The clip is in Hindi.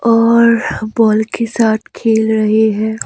और बॉल के साथ खेल रहे हैं।